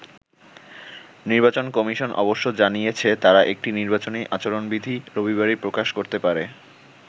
নির্বাচন কমিশন অবশ্য জানিয়েছে, তারা একটি নির্বাচনী আচরণবিধি রবিবারই প্রকাশ করতে পারে।